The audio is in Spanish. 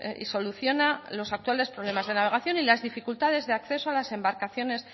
y soluciona los actuales problemas de navegación y las dificultades de acceso a las embarcaciones